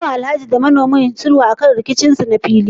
An yi wa Alhaji da manomin shinkafar sulhu akan rikicin su na fili?